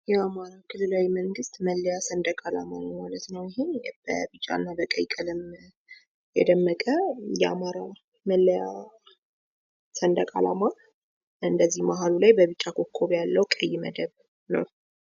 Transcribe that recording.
የአማራ ብሔራዊ ክልላዊ መንገስት ሰንድቅ አላማ ማለት ነው። አሁን በቢጫ እና በቀይ ቀለም የደመቀ የአማራ መለያ ሰንድቅ አላማ እንዲሁም መሃሉ ላይ ኮከብ ያለው ቀይ መደብ ያለው ነው።